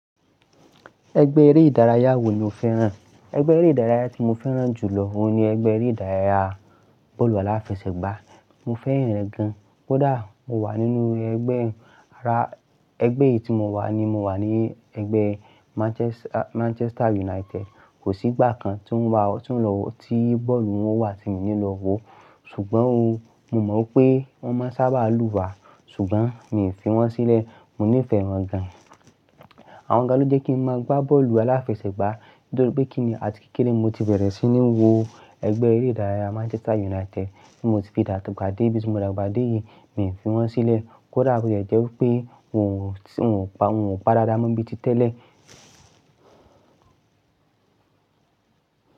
Ẹgbẹ́ eré ìdárayá wo ni o fẹ́ràn? Ẹgbẹ́ eré ìdárayá tí mo fẹ́ràn jù lọ ni ẹgbẹ́ eré ìdárayá bọ́ọ̀lù aláfẹsẹ̀gbá. Mo fẹ́ran rẹ gan. Kódà mo wà nínú ẹgbẹ́ ara-- ẹgbẹ́ yìí tí mo wà ni mo wà ní ẹgbẹ́ Manchester United. Kò sí gbà kan to ń wa, tí ń lọ, tí bọ́ọ̀lù wọn wà tí mi ò ní lọ wò. Ṣùgbọ́n o, mo mọ pé wọ́n má ń sábà lù wá, ṣùgbọ́n mi ò fi wọ́n sílẹ̀. Mo nífẹ̀ẹ́ wọn gan. Àwọn gàn ló jẹ́ kí n máa gbá bọ́ọ̀lù aláfẹsẹ̀gbá nítorí pé kíni àti kékeré mo ti bẹ̀rẹ̀ sí ní wo ẹgbẹ́ eré ìdárayá Manchester United. Mo ti fi dàgbà dé bi tí mo dàgbà dé yìí, mi ò fi wọ́n sílẹ̀. Kódà bó ti ẹ́ jẹ́ wipé wọn ò pa, wọn ò pa dáadáa mọ bí ti tẹ́lẹ̀.